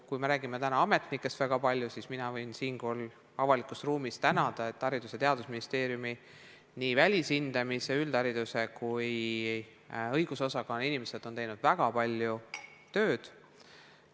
Kui me räägime ametnikest nii palju, siis mina võin siinkohal avalikus ruumis tänada, et Haridus- ja Teadusministeeriumi nii välishindamise, üldhariduse kui ka õigusosakonna inimesed on teinud väga palju tööd.